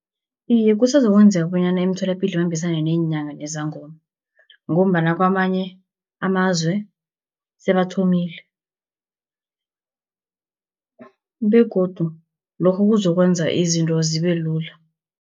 Iye kusazokwenzeka bonyana imitholapilo ibambisane neenyanga nezangoma, ngombana kamanye amazwe sebathomile, begodu lokho kuzokwenza izinto zibe lula.